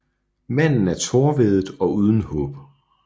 Manden er tårevædet og uden håb